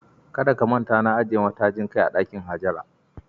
Kada ka manta, na ajiye matajin kai a dakin Hajara.